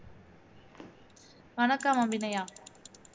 வணக்கம் அபிநயா